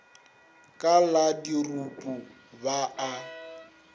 ka la dirupu ba a